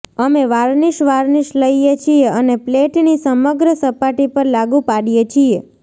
અમે varnish varnish લઇએ છીએ અને પ્લેટની સમગ્ર સપાટી પર લાગુ પાડીએ છીએ